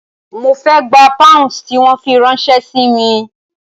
Mo fe gba pounds tí wọ́n fi ráńṣẹ́ si mi.